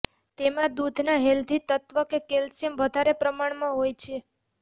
તેમા દૂધના હેલ્ધી તત્વ કેલ્શ્યિમ વધારે પ્રમાણમાં હોય છે